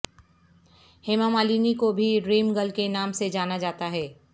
ہیما مالنی کو بھی dream girl کے نام سے جانا جاتا ہے